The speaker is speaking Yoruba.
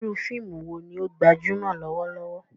Iru fiimu wo ni o gbajumọ lọwọlọwọ?